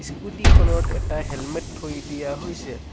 Scooty খনত এটা helmet থৈ দিয়া হৈছে।